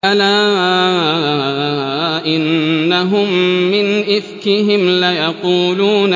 أَلَا إِنَّهُم مِّنْ إِفْكِهِمْ لَيَقُولُونَ